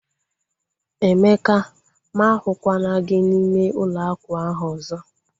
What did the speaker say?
Emeka! Mụ ahukwala gị n'ime ụlọ akwa ahu ọzọ